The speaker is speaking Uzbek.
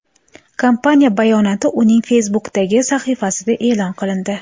Kompaniya bayonoti uning Facebook’dagi sahifasida e’lon qilindi .